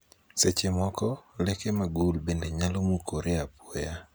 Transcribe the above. seche moko, leke magul bende nyalo mukore apoya